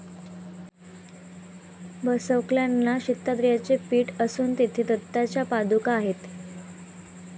बसवकल्याणला श्रीदत्तात्रेयांचे पीठ असुन तेथे दत्ताच्या पादुका आहेत.